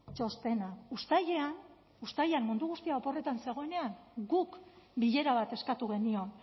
txostena uztailean uztailean mundu guztia oporretan zegoenean guk bilera bat eskatu genion